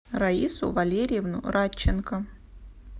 раису валерьевну радченко